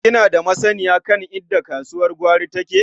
Kina da masanniya kan inda kasuwar gwari take?